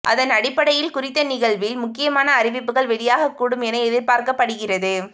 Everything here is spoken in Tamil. அதனடிப்படையில் குறித்த நிகழ்வில் முக்கியமான அறிவிப்புகள் வெளியாகக் கூடும் என எதிர்பார்க்கப்படுகிறது